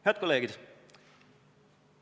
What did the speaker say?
Head kolleegid!